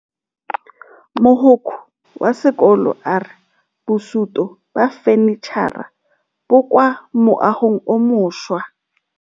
Mogokgo wa sekolo a re bosutô ba fanitšhara bo kwa moagong o mošwa.